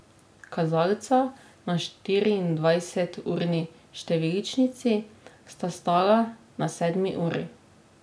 Kazalca na štiriindvajseturni številčnici sta stala na sedmi uri.